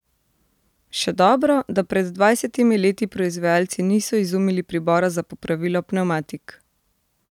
Še dobro, da pred dvajsetimi leti proizvajalci niso izumili pribora za popravilo pnevmatik!